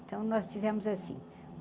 Então nós tivemos assim.